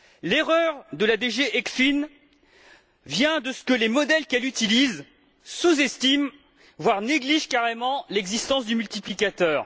L'erreur de la DG ECFIN vient de ce que les modèles qu'elle utilise sous estiment, voire négligent carrément l'existence du multiplicateur.